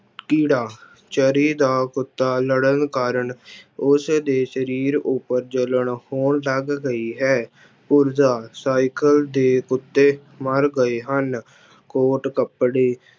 ਕੀੜਾ ਚਰੀ ਦਾ ਕੁੱਤਾ ਲੜਨ ਕਾਰਨ ਉਸਦੇ ਸਰੀਰ ਉੱਪਰ ਜਲਨ ਹੋਣ ਲੱਗ ਗਈ ਹੈ, ਪੁਰਜਾ ਸਾਇਕਲ ਦੇ ਕੁੱਤੇ ਮਰ ਗਏ ਹਨ, ਕੋਟ ਕੱਪੜੇ